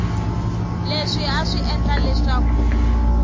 leswi a swi endla leswaku